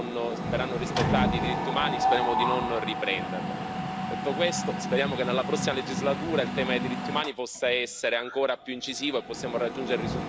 Detto questo, speriamo che nella prossima legislatura il tema dei diritti umani possa essere ancora più incisivo e possiamo raggiungere risultati ancora migliori rispetto a quelli raggiunti in questa legislatura.